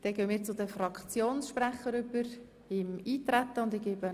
Dann kommen wir nun zu den Fraktionssprechenden.